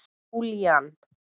Júlían